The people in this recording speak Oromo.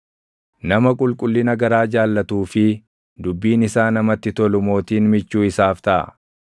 Nama qulqullina garaa jaallatuu fi dubbiin isaa namatti tolu mootiin michuu isaaf taʼa.